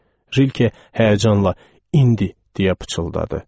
Rilke həyəcanla, indi, deyə pıçıldadı.